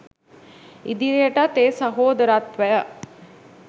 ඉදිරියටත් ඒ සහෝදරත්වය